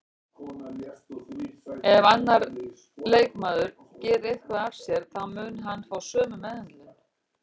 Ef annar leikmaður gerir eitthvað af sér þá mun hann fá sömu meðhöndlun